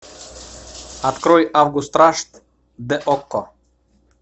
открой август рашт де окко